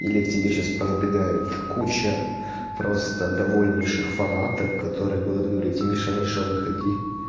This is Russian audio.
или к тебе сейчас по набегает куча просто довольнейших фанаток которые будут говорить миша миша выходи